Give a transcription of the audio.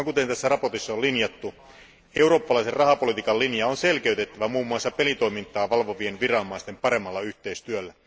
Kuten tässä mietinnössä on linjattu, eurooppalaisen rahapolitiikan linja on selkeytettävä muun muassa pelitoimintaa valvovien viranomaisten paremmalla yhteistyöllä.